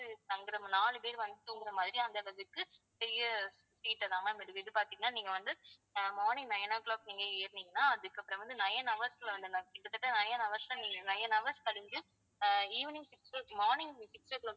தங்கிறமாதிரி நாலு பேர் வந்து தூங்குற மாதிரி மாதிரி அந்த அளவுக்கு பெரிய seat அ தான் ma'am இருக்குது இது பாத்தீங்கன்னா நீங்க வந்து ஆஹ் morning nine o'clock நீங்க ஏறுனீங்கன்னா அதுக்கப்புறம் வந்து nine hours ல வந்து ma'am கிட்டத்தட்ட nine hours ல நீங்க nine hours கழிஞ்சு ஆஹ் evening six'o clock morning six o'clock க்கு